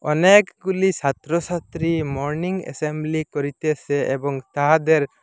অনেকগুলি ছাত্রছাত্রী morning assembly করিতেসে এবং তাহাদের--